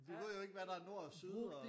Du ved jo ikke hvad der er nord og syd og